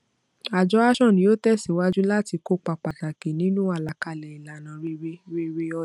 àjọ ashon yóò tẹsíwájú láti kópa pàtàkì nínú àlàkalè ìlànà rere rere ọjà èyàwó ṣòwò